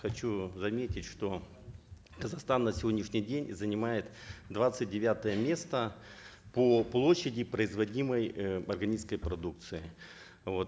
хочу заметить что казахстан на сегодняшний день занимает двадцать девятое место по площади производимой э органической продукции вот